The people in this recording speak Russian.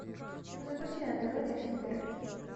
запусти на тв детский мир